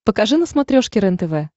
покажи на смотрешке рентв